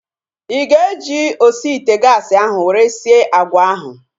Ị ga-eji osi ite gaasi ahu were sie agwa ahu?